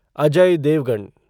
Ajay Devgan